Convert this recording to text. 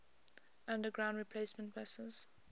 underground replacement buses